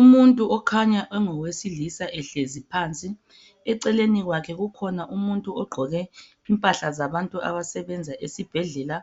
Umuntu okhanya engowesilisa ehlezi phansi, eceleni kwakhe kukhona umuntu ogqoke impahla zabantu abasebenza esibhedlela,